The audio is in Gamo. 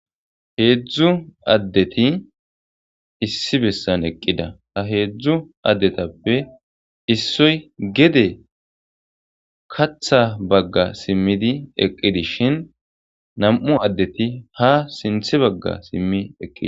heedzdzu addeti issi bessan eqqida ha heedzdzu addetappe issoy gede katha bagga simmidi eqqidishin nam7u addeti ha sinthe bagga simmi eqqidi